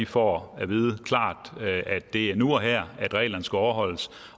får at vide klart at det er nu og her at reglerne skal overholdes